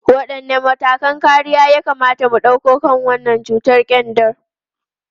Wadanne matakan kariya ya kamata mu dauka kan wannan cutar kyanda?